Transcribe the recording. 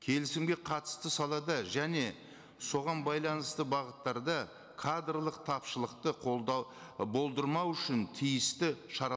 келісімге қатысты салада және соған байланысты бағыттарда кадрлық тапшылықты болдырмау үшін тиісті шара